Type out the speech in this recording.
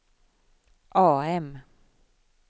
AM